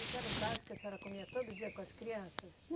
Isso era o básico que a senhora comia todo dia com as crianças?